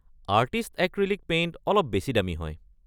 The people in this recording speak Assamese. আৰ্টিষ্ট এক্ৰীলিক পেইণ্ট অলপ বেছি দামী হয়।